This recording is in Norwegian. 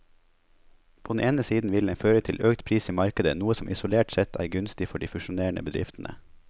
På den ene siden vil den føre til økt pris i markedet, noe som isolert sett er gunstig for de fusjonerende bedriftene.